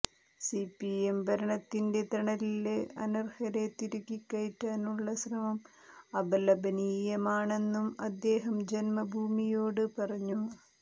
CPM ഭരണത്തിന്റെ തണലില് അനര്ഹരെ തിരുകി കയറ്റാനുള്ള ശ്രമം അപലപനീയമാണെന്നും അദ്ദേഹം ജന്മഭൂമിയോട് പറഞ്ഞു